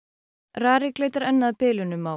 RARIK leitar enn að bilunum á